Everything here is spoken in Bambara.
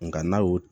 Nka n'a y'o